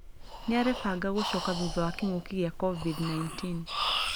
Nĩarebanga gũcoka thutha wa kĩng'uki gĩa covid-19.